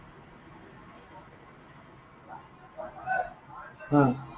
অ।